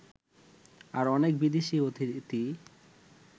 আর অনেক বিদেশী অতিথি